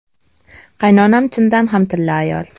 Qaynonam chindan ham tilla ayol.